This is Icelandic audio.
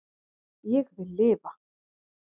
Ég vil lifa